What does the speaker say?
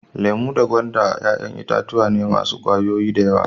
Lemu da gwanda yayan itatuwa ne masun kwayoyi da yawa.